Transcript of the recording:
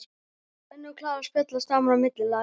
Svenni og Klara spjalla saman á milli laga.